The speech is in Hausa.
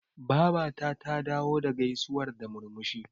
Babata ta dawo da gaisuwar da murmushi.